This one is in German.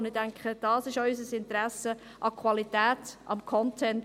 Ich denke, das ist auch unser Interesse, das Interesse an Qualität, an Content.